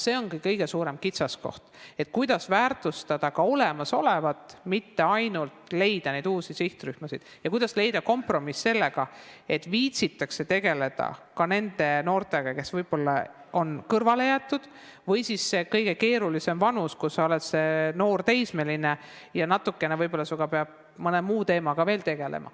See ongi kõige olulisem kitsaskoht, kuidas väärtustada olemasolevat, mitte ainult leida uusi sihtrühmasid, ja kuidas leida kompromiss, et viitsitaks tegeleda ka nende noortega, kes on võib-olla kõrvale jäetud, või selles kõige keerulisemas vanuses lastega, teismelistega, kelle puhul peab võib-olla mõne muu teemaga veel tegelema.